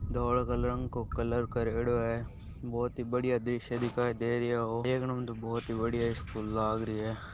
धोलाे रंग को कलर करियोडो हैं बहुत ही बढ़िया दृश्ये दिखाई दे रहिया हैं देखने ऊ तो बहुत ही बढ़िया स्कूल लाग रही हैं।